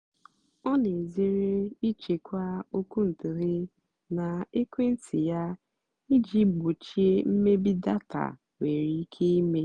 ọ́ nà-èzèré ị́chèkwá ókwúntụ̀ghé nà ékwéntị́ yá ìjì gbòchíé mmébì dátà nwèrè íké ímé.